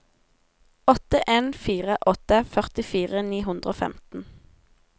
åtte en fire åtte førtifire ni hundre og femten